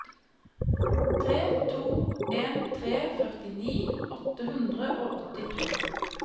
tre to en tre førtini åtte hundre og åttito